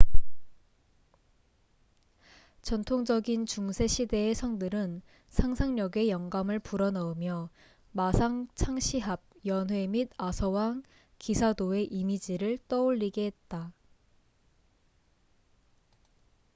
전통적인 중세 시대의 성들은 상상력에 영감을 불어넣으며 마상 창시합 연회 및 아서왕 기사도의 이미지를 떠올리게 했다